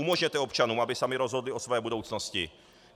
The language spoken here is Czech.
Umožněte občanům, aby sami rozhodli o své budoucnosti.